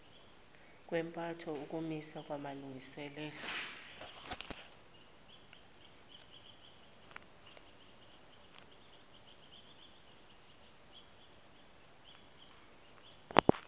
kwempatho ukumiswa kwamalungiselelo